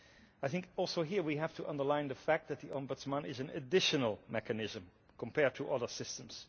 I think also here we have to underline the fact that the ombudsperson is an additional mechanism compared to other systems.